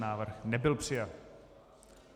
Návrh nebyl přijat.